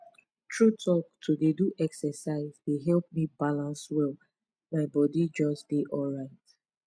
true talk to dey do exercise dey help me balance well my body just dey alright